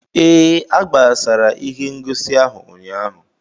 Ee, a gbasara ihe ngosi ahụ ụnyaahụ.